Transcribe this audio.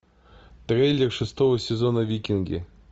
трейлер шестого сезона викинги